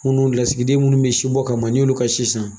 Minnu lasigiden minnu be sibɔ kama ni y'olu ka si san